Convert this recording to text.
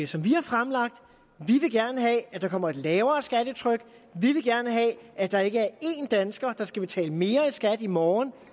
som vi har fremlagt vi vil gerne have at der kommer et lavere skattetryk vi vil gerne have at der ikke er en dansker der skal betale mere i skat i morgen